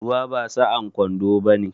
Ruwa ba sa'an kwando bane